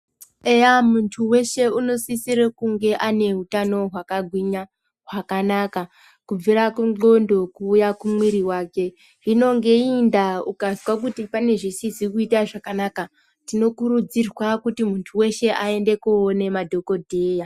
Eya muntu weshe anosisira kunge ane utano hwakagwinya hwakanaka kubvira kundxondo kuuya kumuiri yake hino neiyi ndaa ukazwa kuti pane zvisizi kuita zvakanaka. Tinokurudzirwa kuti muntu weshe aende koona madhokodheya.